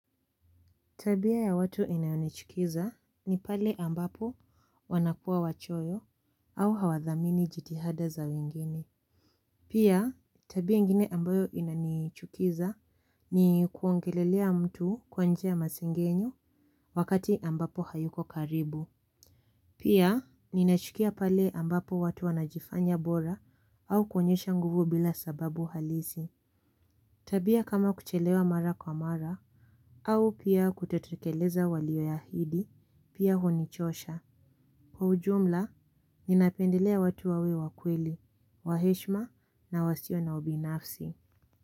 Tabia ya watu inayonichukiza ni pale ambapo wanakua wachoyo au hawadhamini jitihada za wengine. Pia tabia ingine ambayo inanichukiza ni kuongelelea mtu kwa njia ya masengenyo wakati ambapo hayuko karibu. Pia ninachukia pale ambapo watu wanajifanya bora au kuonyesha nguvu bila sababu halisi. Tabia kama kuchelewa mara kwa mara au pia kutotekeleza walio ya ahidi pia honichosha. Kwa ujumla, ninapendelea watu wawe wa kweli, wa heshima na wasio na ubinafsi.